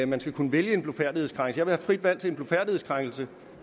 man skal kunne vælge en blufærdighedskrænkelse jeg frit valg til en blufærdighedskrænkelse